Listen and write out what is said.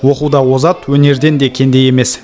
оқуда озат өнерден де кенде емес